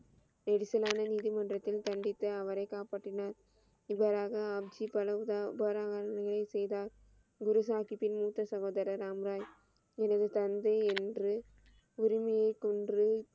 எரிச்சலான நீதிமன்றத்தில் சந்தித்து அவரை காப்பாற்றினார். இவ்வாறாக ஆப்ஜி நியதி செய்தார். குரு ஜாகித்தின் மூத்த சகோதரர் ராம் ராய் எனது தந்தை என்று உரிமையை கொன்று,